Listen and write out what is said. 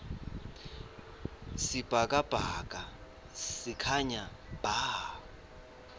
sibhakabhaka sikhanya bha